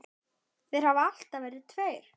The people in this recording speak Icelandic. Þeir hafa alltaf verið tveir.